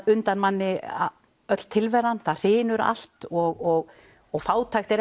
undan manni öll tilveran það hrynur allt og og fátækt er